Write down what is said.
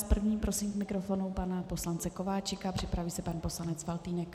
S prvním prosím k mikrofonu pana poslance Kováčika, připraví se pan poslanec Faltýnek.